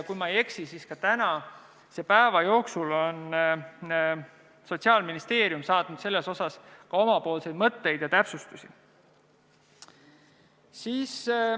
Kui ma ei eksi, siis tänase päeva jooksul on Sotsiaalministeerium saatnud selle kohta oma mõtteid ja täpsustusi.